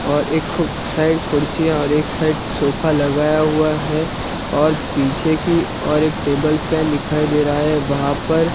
और एक खू साइड खुर्सीयाँ और एक साइड छोफा लगाया हुआ है और पीछे की और एक टेबल फैन दिखाई दे रहा है वहां पर--